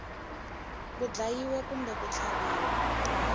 ku dlayiwa kumbe ku tlhaviwa